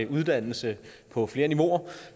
uddannelse på flere niveauer